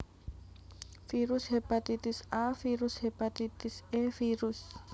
Virus Hepatitis A Virus Hepatitis E Virus